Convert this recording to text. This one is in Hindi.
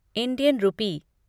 Indian rupee